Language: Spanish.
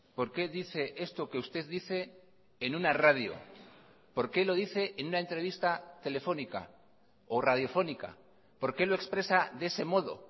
por qué dice esto que usted dice en una radio por qué lo dice en una entrevista telefónica o radiofónica por qué lo expresa de ese modo